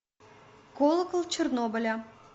колокол чернобыля